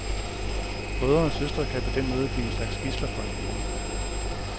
Brødre og søstre kan på den måde blive en slags gidsler for hinanden.